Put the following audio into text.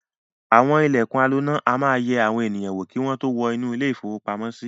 Àwọn ilẹ̀kùn aloná máa ń yẹ àwọn ènìyàn wò kí wọ́n tó wọ inú ilé-ìfowópamọ́sí.